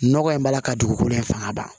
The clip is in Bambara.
Nɔgɔ in b'a la ka dugukolo in fanga ban